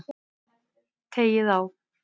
Teygið á.